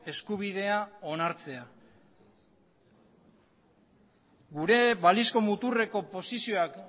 eskubidea onartzea gure balizko muturreko posizioak